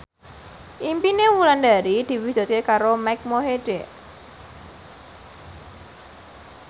impine Wulandari diwujudke karo Mike Mohede